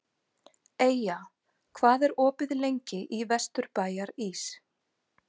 Eyja, hvað er opið lengi í Vesturbæjarís?